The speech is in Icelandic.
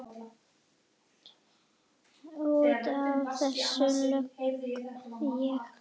Út af þessu legg ég.